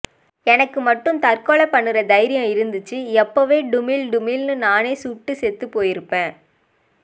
எனக்கு மட்டும் தற்கொலை பண்ணுற தைரியம் இருந்துச்சு எப்பயோ டுமீல் டுமீல்ன்னு நானே சுட்டு செத்துபோயிருப்பேன்